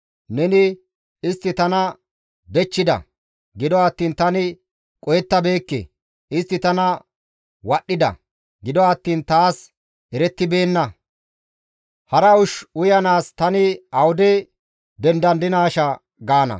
Neni, «Istti tana dechchida; gido attiin tani qohettabeekke; istti tana wadhdhida; gido attiin taas erettibeenna. Hara ushsha uyanaas tani awude dendandinaashaa?» gaana.